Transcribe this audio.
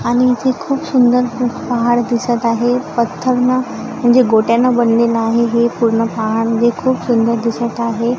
आणि इथे खूप सुंदर खूप पहाड दिसत आहे पत्थरनं म्हणजे गोट्यानं बनलेलं आहे हे पूर्ण पहाड जे खूप सुंदर दिसत आहे.